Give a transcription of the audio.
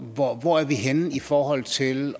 hvor hvor er vi henne i forhold til